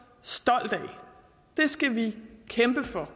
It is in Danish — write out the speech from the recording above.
stolt af det skal vi kæmpe for